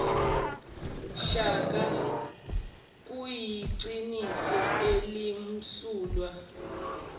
shaka kuyiqiniso elimsulwa